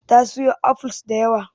Ta siyo apples da yawa.